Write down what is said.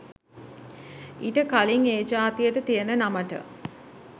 ඊට කලින් ඒ ජාතියට තියෙන නමට